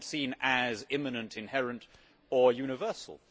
They are not seen as imminent, inherent or universal.